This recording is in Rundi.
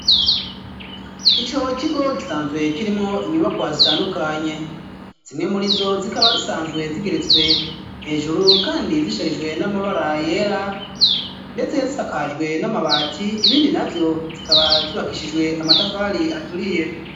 Ico kigo gisanzwe kirimwo inyubako zitandukanye zimwe murizo zikaba zisanzwe zigeretswe hejuru kandi zisharijwe n'amabara yera ndetse zisakajwe n'amabati ibindi navyo zikaba zubakishijwe amatafari aturiye.